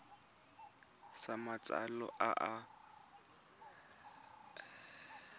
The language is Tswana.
sa matsalo fa o dira